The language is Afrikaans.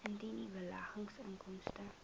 indien u beleggingsinkomste